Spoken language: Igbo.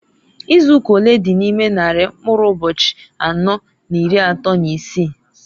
Izuụka olee dị n' ime nnarị mkụrụ ụbọchị anọọ n'iri atọọ n'isii?